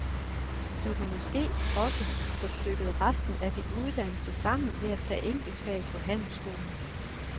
Du kan måske også få stykket resten af din uddannelse sammen ved at tage enkeltfag på handelsskolen.